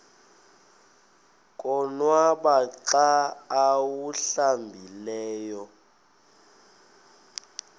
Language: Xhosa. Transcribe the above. konwaba xa awuhlambileyo